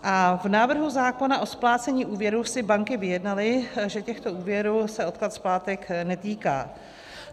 A v návrhu zákona o splácení úvěrů si banky vyjednaly, že těchto úvěrů se odklad splátek netýká.